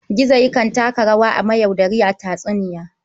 Gizo yakan taka rawa mayaudari a tatsuniya.